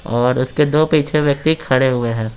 और उसके दो पीछे व्यक्ति खड़े हुए हैं।